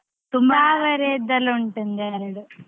ಉಂಟು ಒಂದ್ ಎರಡ್.